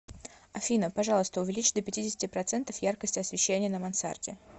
афина пожалуйста увеличь до пятидесяти процентов яркость освещения на мансарде